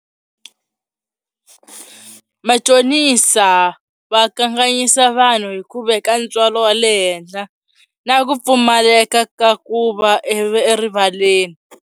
Machonisa va kanganyisa vanhu hi ku veka ntswalo wa le henhla na ku pfumaleka ka ku va erivaleni.